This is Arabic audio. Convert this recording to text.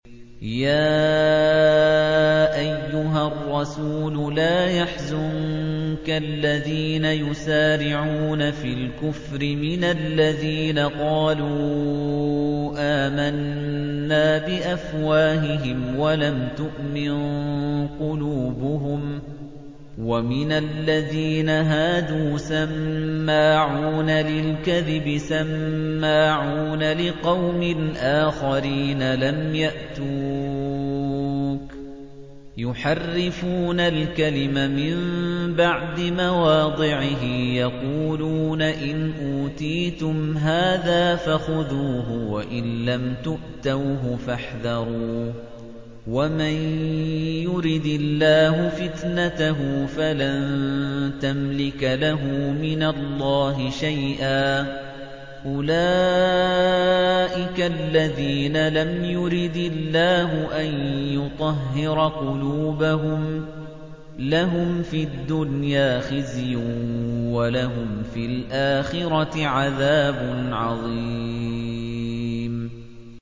۞ يَا أَيُّهَا الرَّسُولُ لَا يَحْزُنكَ الَّذِينَ يُسَارِعُونَ فِي الْكُفْرِ مِنَ الَّذِينَ قَالُوا آمَنَّا بِأَفْوَاهِهِمْ وَلَمْ تُؤْمِن قُلُوبُهُمْ ۛ وَمِنَ الَّذِينَ هَادُوا ۛ سَمَّاعُونَ لِلْكَذِبِ سَمَّاعُونَ لِقَوْمٍ آخَرِينَ لَمْ يَأْتُوكَ ۖ يُحَرِّفُونَ الْكَلِمَ مِن بَعْدِ مَوَاضِعِهِ ۖ يَقُولُونَ إِنْ أُوتِيتُمْ هَٰذَا فَخُذُوهُ وَإِن لَّمْ تُؤْتَوْهُ فَاحْذَرُوا ۚ وَمَن يُرِدِ اللَّهُ فِتْنَتَهُ فَلَن تَمْلِكَ لَهُ مِنَ اللَّهِ شَيْئًا ۚ أُولَٰئِكَ الَّذِينَ لَمْ يُرِدِ اللَّهُ أَن يُطَهِّرَ قُلُوبَهُمْ ۚ لَهُمْ فِي الدُّنْيَا خِزْيٌ ۖ وَلَهُمْ فِي الْآخِرَةِ عَذَابٌ عَظِيمٌ